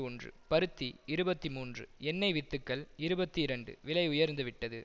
ஒன்று பருத்தி இருபத்தி மூன்று எண்ணெய் வித்துக்கள் இருபத்தி இரண்டு விலை உயர்ந்துவிட்டது